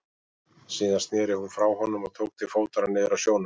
Síðan sneri hún frá honum og tók til fótanna niður að sjónum.